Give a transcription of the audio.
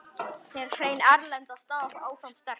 Hrein erlend staða áfram sterk.